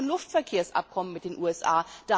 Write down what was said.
Das weiß ich von dem Luftverkehrsabkommen mit den